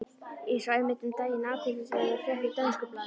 Ég sá einmitt um daginn athyglisverða frétt í dönsku blaði.